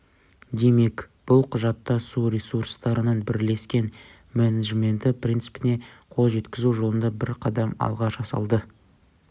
демек бұл құжатта су ресурстарының бірлескен менеджменті принципіне қол жеткізу жолында бір қадам алға жасалды